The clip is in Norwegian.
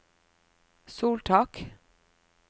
soltak